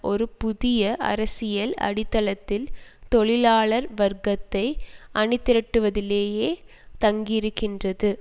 ஒரு புதிய அரசியல் அடித்தளத்தில் தொழிலாளர் வர்க்கத்தை அணி திரட்டுவதிலேயே தங்கியிருக்கின்றது